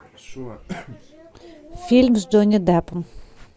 фильм с джонни депом